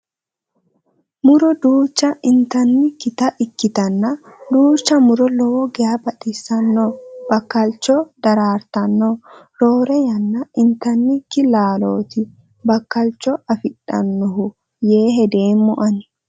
Muro duucha intannikkita ikkitanna duucha muro lowo geya baxisanno bakkalicho dartanno. Roore yanna intanniki laalooti bakkalicho afidhannohu yee hedeemma Ani.